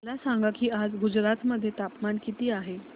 मला सांगा की आज गुजरात मध्ये तापमान किता आहे